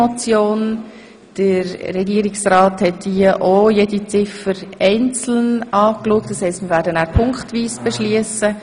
Der Regierungsrat hat jede Ziffer einzeln angeschaut, das heisst, wir werden punktweise beschliessen.